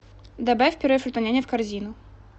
добавь пюре фрутоняня в корзину